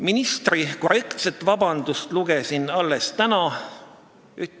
" Ministri korrektset vabandust lugesin alles täna.